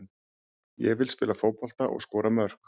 Ég vil spila fótbolta og skora mörk.